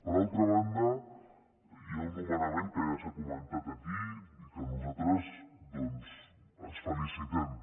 per altra banda hi ha un nomenament que ja s’ha comentat aquí i que nosaltres doncs ens en felicitem